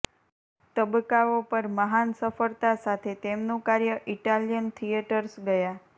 તબક્કાઓ પર મહાન સફળતા સાથે તેમનું કાર્ય ઇટાલિયન થિયેટર્સ ગયા